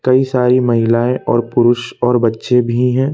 कई सारी महिलाएं और पुरुष और बच्चे भी हैं।